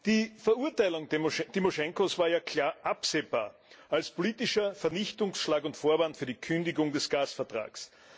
Die Verurteilung Tymoschenkos war ja klar absehbar als politischer Vernichtungsschlag und Vorwand für die Kündigung des Gasvertrags.